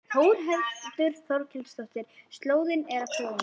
Þórhildur Þorkelsdóttir: Slóðin er að kólna?